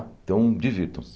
Então divirtam-se.